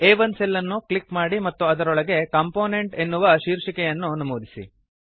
ಆ1 cell ಅನ್ನು click ಮಾಡಿ ಮತ್ತು ಅದರೊಳಗೆ ಕಾಂಪೋನೆಂಟ್ ಎನ್ನುವ ಶೀರ್ಷಿಕೆಯನ್ನುಹೆಡ್ಡಿಂಗ್ ನಮೂದಿಸಿ